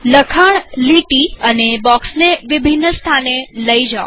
લખાણલીટી અને બોક્ષને વિભિન્ન સ્થાને લઇ જાઓ